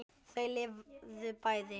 Þau lifðu bæði.